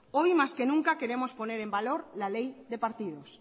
hoy más que nunca queremos poner en valor la ley de partidos